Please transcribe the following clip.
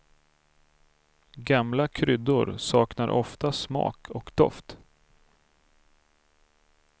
Gamla kryddor saknar ofta smak och doft.